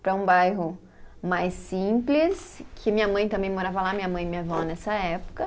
Para um bairro mais simples, que minha mãe também morava lá, minha mãe e minha vó nessa época.